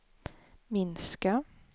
minska